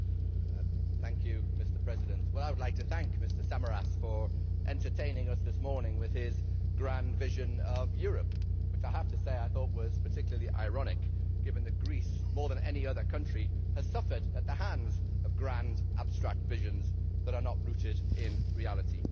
Mr President, I would like to thank Mr Samaras for entertaining us this morning with his grand vision of Europe, which I have to say I thought was particularly ironic given that Greece, more than any other country, has suffered at the hands of grand, abstract visions that are not rooted in reality.